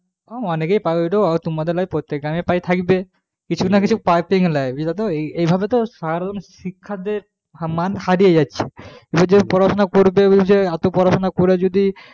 অনেকেই পায় ওইটা তোমাদের নয় প্রত্যেক গ্রামে প্রায় থাকবে কিছু না কিছু প্রায় বুঝলে তো এই ভাবে তো শহরে শিক্ষার যে মান হারিয়ে যাচ্ছে এবার যে পড়াশোনা করবে এবং যে এত পড়াশোনা করে যদি